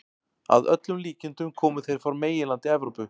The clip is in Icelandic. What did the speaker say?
Að öllum líkindum komu þeir frá meginlandi Evrópu.